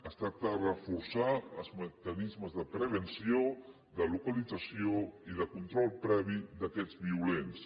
es tracta de reforçar els mecanismes de prevenció de localització i de control previ d’aquests violents